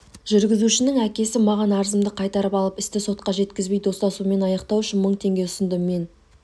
жүргізушінің әкесі маған арызымды қайтарып алып істі сотқа жеткізбей достасумен аяқтау үшін мың теңге ұсынды мен